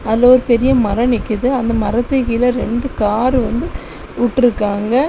அதுல ஒரு பெரிய மரம் நிக்குது அந்த மரத்தை கீழே ரெண்டு கார் வந்து வுட்ருக்காங்க.